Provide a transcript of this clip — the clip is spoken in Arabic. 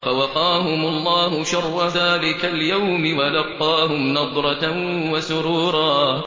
فَوَقَاهُمُ اللَّهُ شَرَّ ذَٰلِكَ الْيَوْمِ وَلَقَّاهُمْ نَضْرَةً وَسُرُورًا